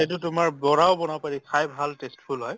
এইটো তোমাৰ বৰাও বনাব পাৰি খাই ভাল tasteful হয়